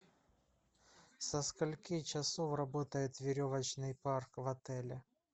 со скольки часов работает веревочный парк в отеле